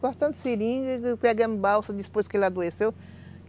Cortando seringa, pegamos balsa depois que ele adoeceu.